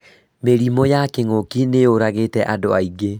Mĩrimũ ya Kĩng'ũki nĩ yũragĩte andũ aingĩ